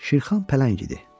Şirxan Pələng idi.